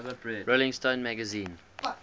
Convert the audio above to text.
rolling stone magazine